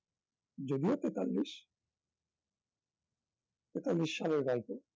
যদিও তেতাল্লিশ একটা নিঃসাড়ের গল্প